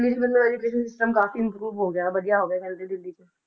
ਦਿੱਲੀ 'ਚ ਮਤਲਬ education system ਕਾਫ਼ੀ improve ਹੋ ਗਿਆ ਵਧੀਆ ਹੋ ਗਿਆ ਕਹਿੰਦੇ ਦਿੱਲੀ 'ਚ